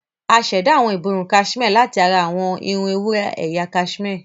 A ṣẹ̀dá awọn ìborùn kaṣimé láti ara irun ewúrẹ́ ẹ̀yà kaṣimé.